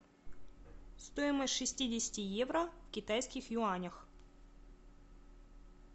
стоимость шестидесяти евро в китайских юанях